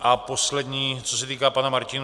A poslední, co se týká pana Martinů.